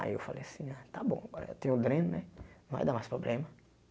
Aí eu falei assim, ah tá bom, agora eu tem o dreno né, vai dar mais problema.